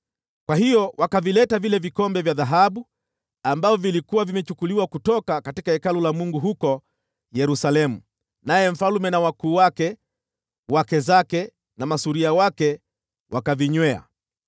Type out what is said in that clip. Kwa hiyo wakavileta vile vikombe vya dhahabu ambavyo vilikuwa vimechukuliwa kutoka Hekalu la Mungu huko Yerusalemu, naye mfalme na wakuu wake, wake zake na masuria wake wakavinywea.